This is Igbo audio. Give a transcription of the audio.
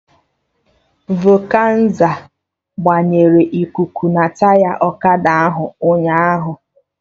Vọkanịza gbanyere ikuku na taya ọkada ahụ ụnyaahụ